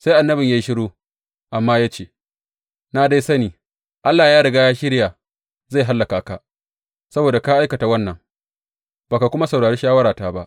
Sai annabin ya yi shiru, amma ya ce, Na dai sani Allah ya riga ya shirya zai hallaka ka, saboda ka aikata wannan, ba ka kuma saurari shawarata ba.